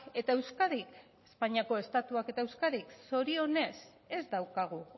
eta euskadik espainiako estatuak eta euskadik zorionez ez daukagu